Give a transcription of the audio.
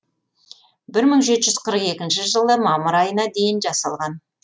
бір мың жеті жүз қырық екінші жылы мамыр айына дейін жасалған